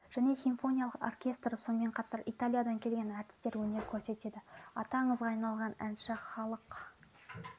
және симфониялық оркестрі сонымен қатар италиядан келген әртістер өнер көрсетеді аты аңызға айналған әнші халық